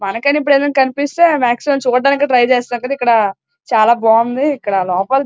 కనిపిస్తే మాక్సిమం చుడానికి ట్రై చేస్తాం ఇక్కడ చాల బావుంది ఇక్కడ --